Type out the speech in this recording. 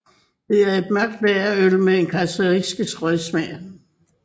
Det er et mørkt lagerøl med en karaktistisk røgsmag